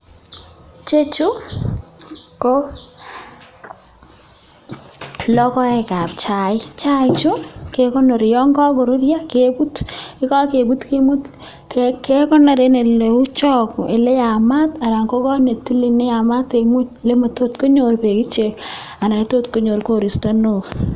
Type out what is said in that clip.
Chechuu koo logoek kap chaik chaii ichuu ke konori Yoon kakoruryo kebut yeko kebut kekonor en eleu chagoo ele yamat Alan ko koot netilil neyamat en ngweny ele lemotot konyor ichek beek Alan konyor koristo neoo